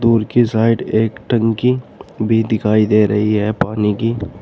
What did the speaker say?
दूर की साइड एक टंकी भी दिखाई दे रही है पानी की।